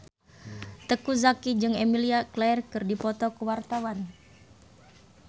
Teuku Zacky jeung Emilia Clarke keur dipoto ku wartawan